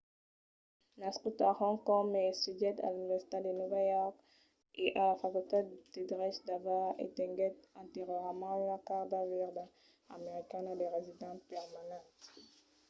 nascut a hong kong ma estudièt a l’universitat de nòva york e a la facultat de drech d'harvard e tenguèt anteriorament una carta verda americana de resident permanent